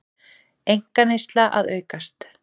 Einkaneysla að aukast